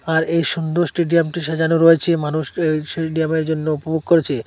আর এই সুন্দর স্টেডিয়ামটি সাজানো রয়েছে মানুষ সেই সেডিয়ামের জন্য উপভোগ করছে।